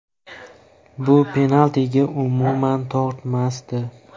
Bu penaltiga umuman tortmasdi.